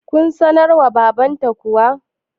kun sanar wa babanta kuwa?